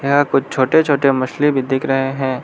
यहां कुछ छोटे छोटे मछली भी दिख रहे हैं।